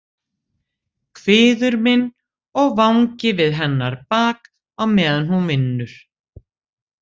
Kviður minn og vangi við hennar bak á meðan hún vinnur.